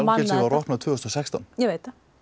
opnað tvö þúsund og sextán ég veit